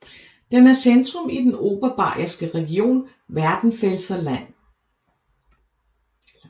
Den er centrum i den Oberbayerske region Werdenfelser Land